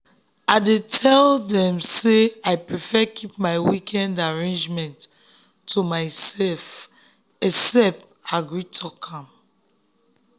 i tell dem say i prefer keep my weekend arrangement to myself except i gree talk am.